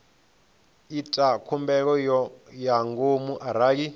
ita khumbelo ya ngomu arali